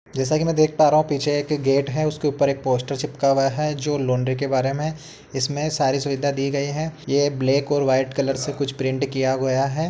जैसा कि मैं देख पा रहा हूँ पीछे एक गेट है उसके ऊपर एक पोस्टर चिपका हुआ है जो लउंड्री के बारे में। इसमें सारी सुविधा दी गयी है। ये ब्लैक और वाइट कलर से कुछ प्रिंट किया गया है।